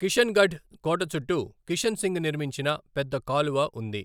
కిషన్గఢ్ కోట చుట్టూ కిషన్ సింగ్ నిర్మించిన పెద్ద కాలువ ఉంది.